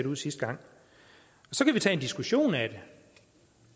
ud sidste gang så kan vi tage en diskussion af det